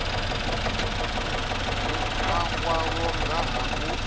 mua wavho nga ha u